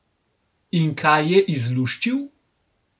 In kaj je izluščil?